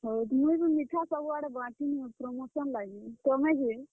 ହଁ, ମୁଇଁ ବି ମିଠା ସବୁ ଆଡେ ବାଣ୍ଟଲି ନ promotion ଲାଗି, ତୁମେ ଯେ?